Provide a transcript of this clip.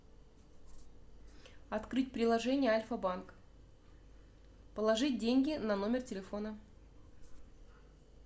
открыть приложение альфа банк положить деньги на номер телефона